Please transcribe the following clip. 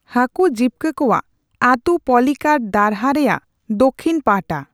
ᱦᱟᱠᱩ ᱡᱤᱵᱠᱟ ᱠᱚᱣᱟᱜ ᱟᱛᱩ ᱯᱚᱞᱤᱠᱟᱴ ᱫᱷᱟᱨᱦᱟ ᱨᱮᱭᱟᱜ ᱫᱚᱠᱷᱤᱱ ᱯᱟᱦᱴᱷᱟ ᱾